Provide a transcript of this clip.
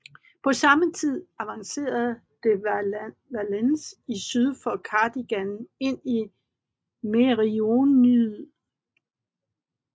På samme tid avancerede de Valence i syd fra Cardigan ind i Meirionnydd